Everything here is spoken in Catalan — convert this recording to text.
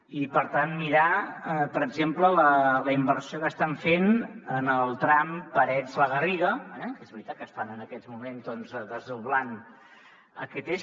i per tant mirar per exemple la inversió que estan fent en el tram parets la garriga eh que és veritat que estan en aquests moments doncs desdoblant aquest eix